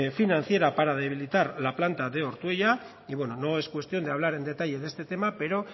financiera para debilitar la planta de ortuella y bueno no es cuestión de hablar en detalle de este tema pero